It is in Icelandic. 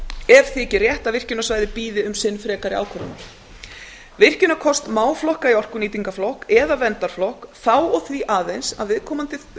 ef þyki rétt að virkjunarsvæði bíði um sinn frekari ákvörðunar virkjunarkost má flokka í orkunýtingarflokk eða verndarflokk þá og því aðeins að viðkomandi